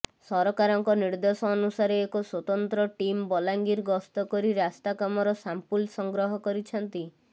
ସରକାରଙ୍କ ନିର୍ଦେଶ ଅନୁସାରେ ଏକ ସ୍ବତନ୍ତ୍ର ଟିମ୍ ବଲାଙ୍ଗିର ଗସ୍ତ କରି ରାସ୍ତା କାମର ସାମ୍ପୁଲ ସଂଗ୍ରହ କରିଛନ୍ତି